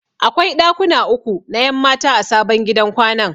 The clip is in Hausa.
Akwai ɗakuna uku na 'yan mata a sabon gidan kwanan.